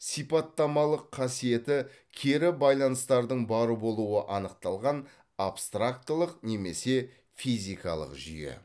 сипаттамалық қасиеті кері байланыстардың бар болуы анықталған абстрактылық немесе физикалық жүйе